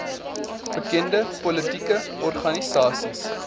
bekende politieke organisasies